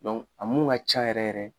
a mun ka can yɛrɛ yɛrɛ.